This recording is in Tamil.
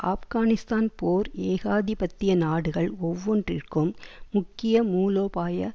ஆப்கானிஸ்தான் போர் ஏகாதிபத்திய நாடுகள் ஒவ்வொன்றிற்கும் முக்கிய மூலோபாய